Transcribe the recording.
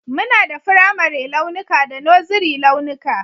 Muna da firamare launuka da Nursery launuka